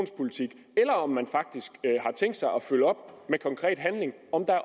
er om man faktisk har tænkt sig at følge op med konkret handling og